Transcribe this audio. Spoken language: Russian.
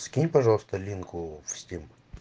скинь пожалуйста линку в стим